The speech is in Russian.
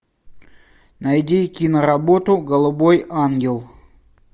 найди киноработу голубой ангел